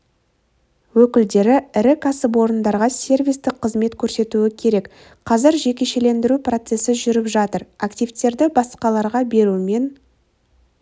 өкілдері ірі кәсіпорындарға сервистік қызмет көрсетуі керек қазір жекешелендіру процесі жүріп жатыр активтерді басқаларға берумен